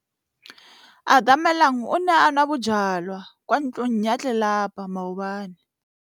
Atamelang o ne a nwa bojwala kwa ntlong ya tlelapa maobane.